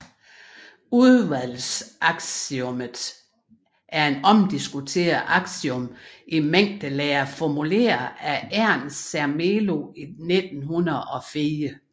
Udvalgsaksiomet er et omdiskuteret aksiom i mængdelære formuleret af Ernst Zermelo i 1904